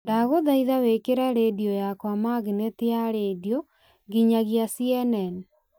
ndagũthaitha wĩkĩre rĩndiũ yakwa magineti ya rĩndiũ nginyagia c.n.n